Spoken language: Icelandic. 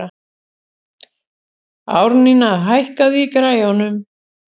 Árnína, hækkaðu í græjunum.